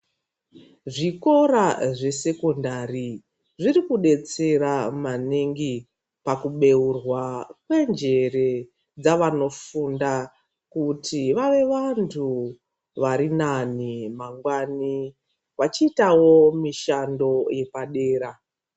Zvikora zvesekondari zviri kudetsera maningi pakubourwa kwenjere dzevanofunda kuti vave vantu vari nane mangwani vachiitawo mushando yepadera.